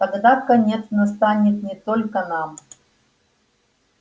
тогда конец настанет не только нам